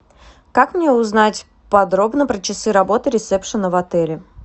как мне узнать подробно про часы работы ресепшена в отеле